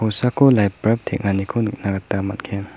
kosako lait barb teng·aniko nikna gita man·gen.